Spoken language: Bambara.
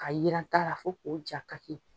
Ka yira sa fo k'o ja kaki.